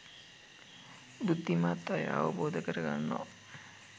බුද්ධිමත් අය අවබෝධ කරගන්නවා